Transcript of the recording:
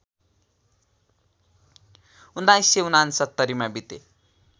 १९६९ मा बिते